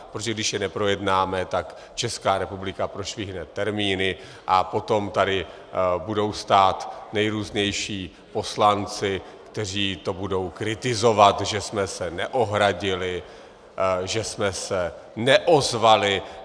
Protože když je neprojednáme, tak Česká republika prošvihne termíny a potom tady budou stát nejrůznější poslanci, kteří to budou kritizovat, že jsme se neohradili, že jsme se neozvali.